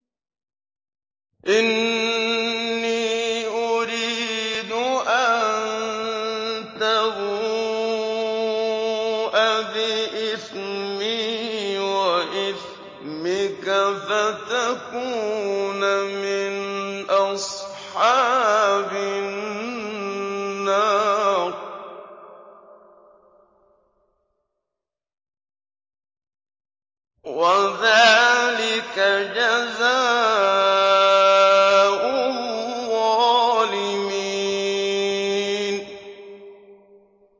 إِنِّي أُرِيدُ أَن تَبُوءَ بِإِثْمِي وَإِثْمِكَ فَتَكُونَ مِنْ أَصْحَابِ النَّارِ ۚ وَذَٰلِكَ جَزَاءُ الظَّالِمِينَ